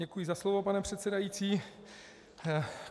Děkuji za slovo, pane předsedající.